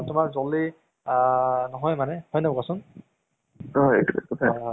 হা হা হা তʼ তাকে আৰু আহ খবৰ পাতি বাকী ভালে আছে ন?